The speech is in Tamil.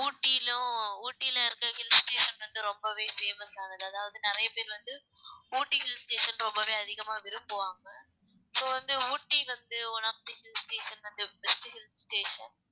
ஊட்டிலும் ஊட்டியில இருக்கிற hill station வந்து ரொம்பவே famous ஆனது அதாவது நிறைய பேர் வந்து ஊட்டி hill station ரொம்பவே அதிகமா விரும்புவாங்க so வந்து ஊட்டி வந்து one of the hill sation வந்து best hill station